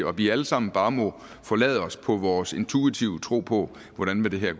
og vi alle sammen bare må forlade os på vores intuitive tro på hvordan det her